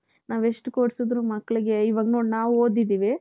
ನಾವೆಷ್ಟು ಕೂರಿಸಿದರೂ ಮಕ್ಕಳಿಗೆ ಇವಾಗ್ ನೋಡು ನಾವ್ ಓದಿದ್ದೀವಿ.